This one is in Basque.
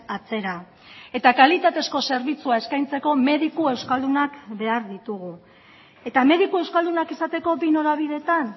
atzera eta kalitatezko zerbitzua eskaintzeko mediku euskaldunak behar ditugu eta mediku euskaldunak izateko bi norabideetan